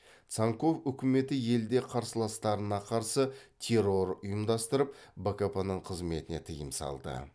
цанков үкіметі елде қарсыластарына қарсы терор ұйымдастырып бкп ның қызметіне тыйым салды